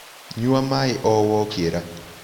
Nyua maĩĩ o wokĩra